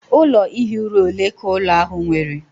Ụlọ ihi ụra ole ka ụlọ ahụ nwere?